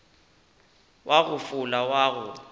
wa go fola wa go